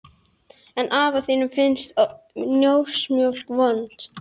En afa þínum finnst dósamjólk vond.